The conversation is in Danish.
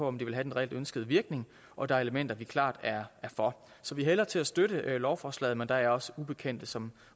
om det vil have den reelt ønskede virkning og der er elementer vi klart er for så vi hælder til at støtte lovforslaget men der er også ubekendte som